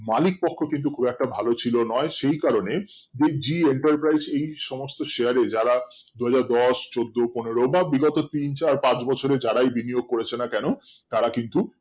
মালিক কক্ষ কিন্তু খুব একটা ভালো ছিল নোই সেই কারণে the zee enter prise এই সমস্ত share এ যারা ধরো দশ চোদ্দ পনেরো বা বিগত তিন চার পাঁচ বছরে যারাই video করেছো না কেন তারা কিন্তু